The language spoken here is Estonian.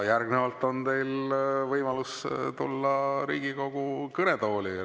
Järgnevalt on teil võimalus tulla Riigikogu kõnetooli.